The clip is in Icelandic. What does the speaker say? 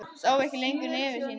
Sá ekki lengra nefi sínu.